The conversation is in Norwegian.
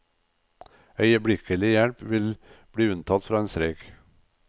Øyeblikkelig hjelp vil bli unntatt fra en streik.